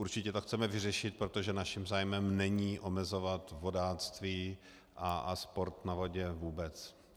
Určitě to chceme vyřešit, protože naším zájmem není omezovat vodáctví a sport na vodě vůbec.